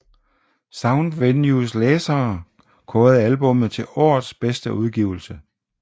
SOUNDVENUEs læsere kårede albummet til årets bedste udgivelse